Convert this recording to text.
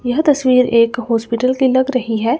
यह तस्वीरें एक हॉस्पिटल की लग रही है।